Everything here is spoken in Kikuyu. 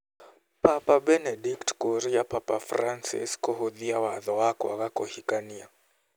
Papa Benedict kũria Papa Francis kũhũthia watho wa kwaga kũhikania